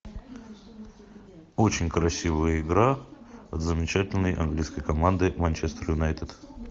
очень красивая игра замечательной английской команды манчестер юнайтед